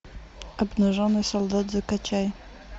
обнаженный солдат закачай